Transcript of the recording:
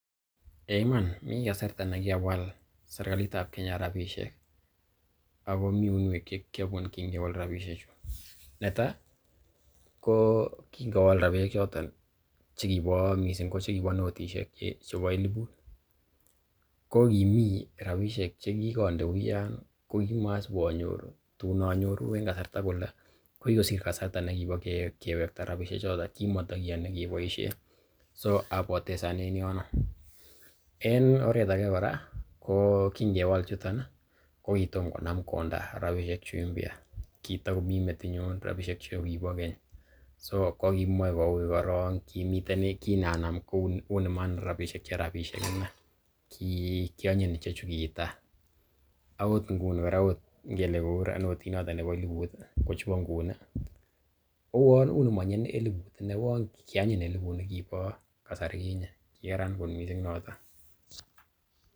Eiy iman mi kasarta nekikawal serkalit ab Kenya rabishek ago mi uinwek che kiiobun kingewal rabisheju, Netai ko kingowal rabisehk choton chekibo, miisng ko chekibo notishek chebo elibut ko kimi rabishek che kigonde uyan ko kimasib anyoru, tun anoru en kasarta kole ko kigosir kasarta nekibo kewekta rabishek choto, kimotkiyoni keboishen so apotezan en yono. En oret age kora ko kingewal chuton ko kitom konam konda rabishek chu mpya kitogomi metinyun rabishek chukibo keny. So ko kimoe ko uiy korong kimeten ne kinanam kou nimanam rabishek che rabishek iney. Kiionyiny icheju ki tai agot nuni kora ot ngele kou notit noton nebo elibut ko chubo nguni kouwon unemonye elibut iney uwon kianyiny elibut nekibo kasari kinye kigaran kot mising noton.